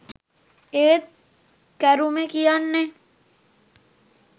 ඒත් කරුමේ කියන්නේ